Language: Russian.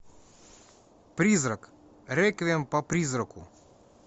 призрак реквием по призраку